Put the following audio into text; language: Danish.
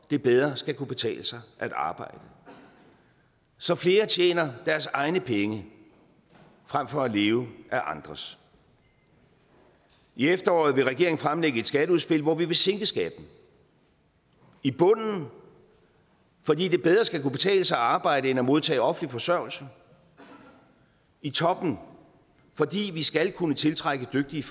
det bedre skal kunne betale sig at arbejde så flere tjener deres egne penge frem for at leve af andres i efteråret vil regeringen fremlægge et skatteudspil hvor vi vil sænke skatten i bunden fordi det bedre skal kunne betale sig at arbejde end at modtage offentlig forsørgelse i toppen fordi vi skal kunne tiltrække dygtige